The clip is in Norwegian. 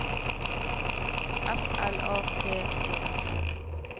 F L A T E N